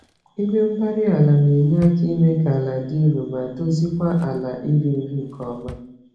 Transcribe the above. Igwe-mgbárí-ala nenye àkà ime kà àlà di nro, ma dozie kwa ala iri nri nke ọma.